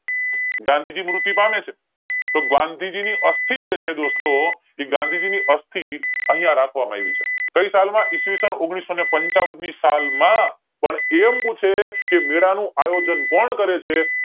ગાંધીજી છે તો ગાંધીજી ની અસ્થિ જે છે દોસ્તો એ ગાંધીજી ની અસ્થિ અહીંયા રાખવામાં આવી છે કય સાલ માં ઈસવીસન ઓગણીસો પંચાવન ની સાલ માં કે એમ પૂછે કે મેળા નું આયોજન કોણ કરે છે